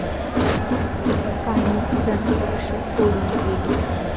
काही जण पक्ष सोडून गेले.